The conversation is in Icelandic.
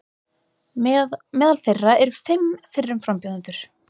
Meðal þeirra eru fimm fyrrum frambjóðendur